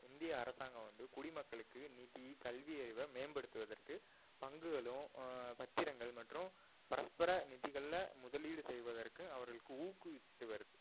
இந்திய அரசாங்கம் வந்து குடிமக்களுக்கு நிதி, கல்வி அறிவை மேம்படுத்துவதற்கு பங்குகளும் ஆஹ் பத்திரங்கள் மற்றும் பரஸ்பர நிதிகள்ல முதலீடு செய்வதற்கு அவர்களுக்கு ஊக்குவிச்சிட்டு வருது